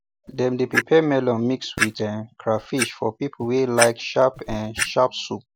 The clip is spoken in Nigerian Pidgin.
dem dey prepare melon mix with um crahfish for people wey like sharp um sharp soup